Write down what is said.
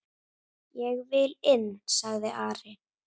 Ég vil inn, sagði Ari.